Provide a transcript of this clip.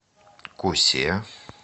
кусе